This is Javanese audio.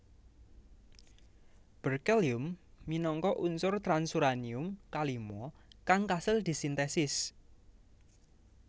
Berkelium minangka unsur transuranium kalima kang kasil disintesis